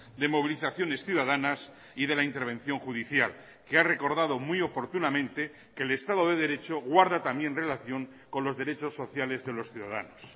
de movilizaciones ciudadanas y de la intervención judicial que ha recordado muy oportunamente que el estado de derecho guarda también relación con los derechos sociales de los ciudadanos